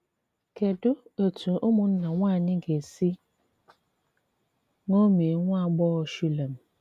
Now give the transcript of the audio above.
Kedụ etú ụmụnna nwanyị ga esi ṅomie nwa agbọghọ Shulem?